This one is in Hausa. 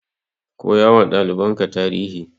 Koyawa ɗalibanka tarihi.